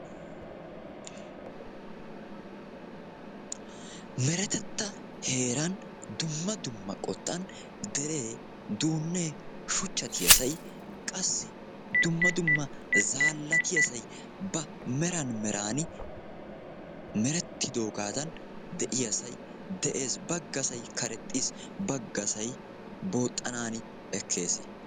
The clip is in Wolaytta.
Meretetta heeran dumma dumma qottan deree, duunnee, shuchchattiyasay, qassi dumma dumma zaallatiyasay ba meran meran merettidoogaadan de'iyasay de'ees. baggasay karexxiis, baggasay booxxanaani ekkes.